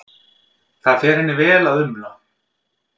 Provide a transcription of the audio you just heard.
Það fer henni vel að umla.